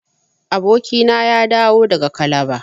Abokina ya dawo daga calabar.